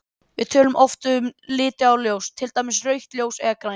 Við tölum oft um liti á ljósi, til dæmis rautt ljós eða grænt.